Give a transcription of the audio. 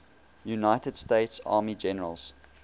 united states army generals